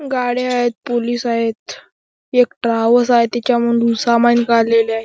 गाड्या आहेत पोलीस आहेत एक ट्रॅव्हल्स आहे त्याच्या मधून सामान काढलेले आहे.